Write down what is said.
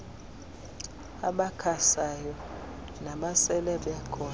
abakhasayo nabasele bekhona